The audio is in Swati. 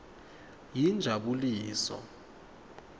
yinjabuliso